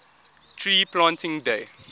tree planting day